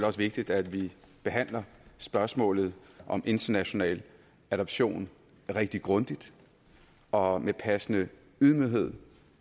også vigtigt at vi behandler spørgsmålet om international adoption rigtig grundigt og med passende ydmyghed